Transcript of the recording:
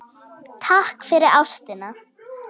Takk fyrir ástina.